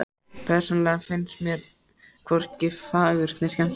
Persónulega finnst mér hvorki fagurt né skemmtilegt.